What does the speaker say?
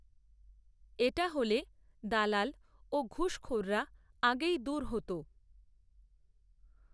এটা হলে দালাল ও ঘুষখোররা আগেই দূর হত।